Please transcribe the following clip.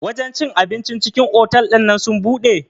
Wajen cin abincin cikin otal ɗinnan sun buɗe?